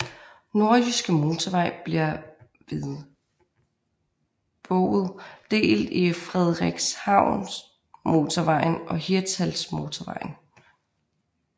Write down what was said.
Nordjyske Motorvej bliver ved Bouet delt i Frederikshavnmotorvejen og Hirtshalsmotorvejen